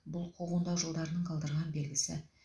бұл құғындау жылдарының қалдырған белгісі